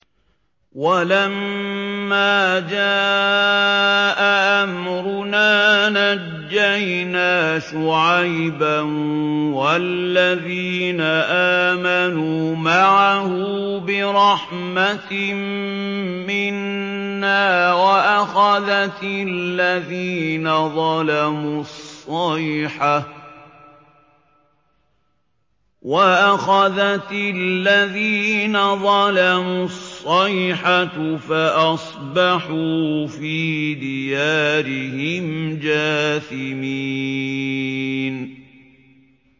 وَلَمَّا جَاءَ أَمْرُنَا نَجَّيْنَا شُعَيْبًا وَالَّذِينَ آمَنُوا مَعَهُ بِرَحْمَةٍ مِّنَّا وَأَخَذَتِ الَّذِينَ ظَلَمُوا الصَّيْحَةُ فَأَصْبَحُوا فِي دِيَارِهِمْ جَاثِمِينَ